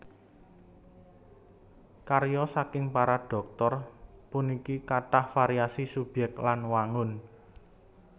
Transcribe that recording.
Karya saking para Dhoktor puniki kathah variasi subyèk lan wangun